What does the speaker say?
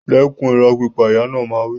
Dẹ́kun ìrọ́ pípa! Ìyá náà máa ń wí.